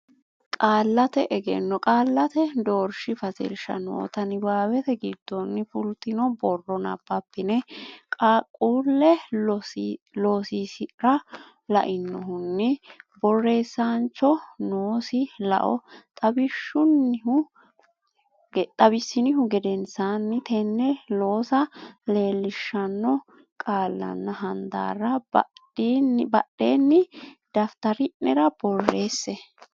Qaallate Egenno Qaallate Doorshi Fatilsha noota niwaawete giddonni fultino borro nabbabbine qaaqquulle loosiisi ra lainohunni borreessaanchoho noosi lao xawissinihu gedensaanni tenne loossa leellishshanno qaallanna handaarra baddine daftari nera borreesse.